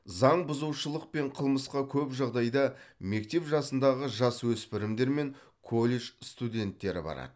заңбұзушылық пен қылмысқа көп жағдайда мектеп жасындағы жасөспірімдер мен колледж студенттері барады